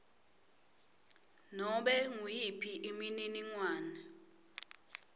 nobe nguyiphi imininingwane